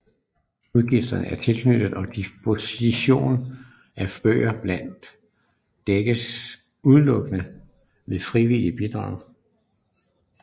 Udgifterne til trykning og distribution af bøger og blade dækkes udelukkende ved frivillige bidrag